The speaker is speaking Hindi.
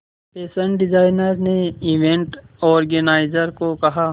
फैशन डिजाइनर ने इवेंट ऑर्गेनाइजर को कहा